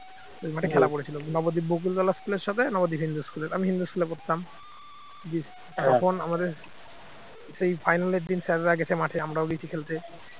খেলা পড়েছিল নবদ্বীপ বকুলতলা school এর সাথে নবদ্বীপ হিন্দু school এর। আমি হিন্দু school এ পড়তাম তখন আমাদের সেই final এর দিন sir রা গেছে মাঠে আমরাও গেছি খেলতে